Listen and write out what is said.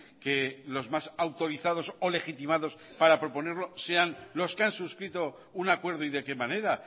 que los más autorizados o legitimados para proponerlo sean los que han suscrito un acuerdo y de qué manera